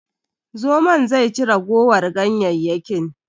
Zomon zai ci ragowar ganyayyakin.